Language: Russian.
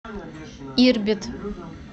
ирбит